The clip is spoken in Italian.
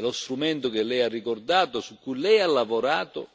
Lo strumento che Lei ha ricordato, su cui Lei ha lavorato,